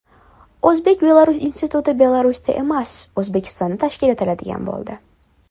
O‘zbek-Belarus instituti Belarusda emas, O‘zbekistonda tashkil etiladigan bo‘ldi.